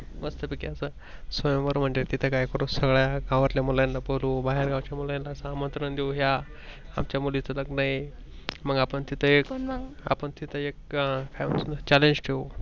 मस्तपैकी असं स्वयंवर म्हणजे तिथं काय करू सगळ्या गावातल्या मुलांना बोलवू बाहेरगावच्या मुलांना आमंत्रण देऊ या आमच्या मुलीच लग्नआहे. मग आपण तिथं एक काय Challenge ठेऊ.